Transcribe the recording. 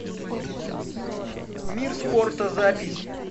мир спорта запись